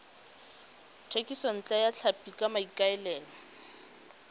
thekisontle ya tlhapi ka maikaelelo